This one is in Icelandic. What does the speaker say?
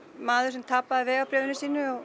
maður sem tapaði vegabréfi sínu